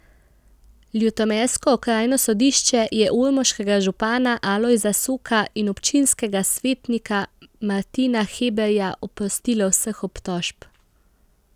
Ljutomersko okrajno sodišče je ormoškega župana Alojza Soka in občinskega svetnika Martina Hebarja oprostilo vseh obtožb.